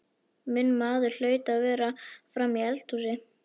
Minn maður hlaut að vera frammi í eldhúsi.